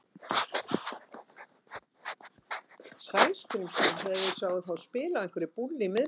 Sæskrímslunum þegar þeir sáu þá spila á einhverri búllu í miðbænum.